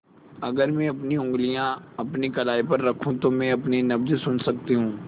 अगर मैं अपनी उंगलियाँ अपनी कलाई पर रखूँ तो मैं अपनी नब्ज़ सुन सकती हूँ